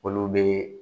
Olu bɛ